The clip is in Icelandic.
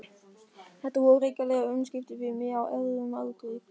Þetta voru hrikaleg umskipti fyrir mig á erfiðum aldri.